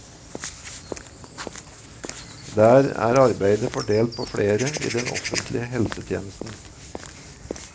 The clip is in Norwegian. Der er arbeidet fordelt på flere i den offentlige helsetjenesten.